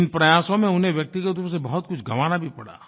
इन प्रयासों में उन्हें व्यक्तिगत रूप से बहुत कुछ गँवाना भी पड़ा